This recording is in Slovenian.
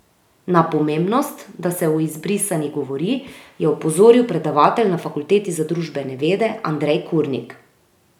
Na pomembnost, da se o izbrisanih govori, je opozoril predavatelj na Fakulteti za družbene vede Andrej Kurnik.